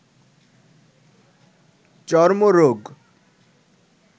চর্মরোগ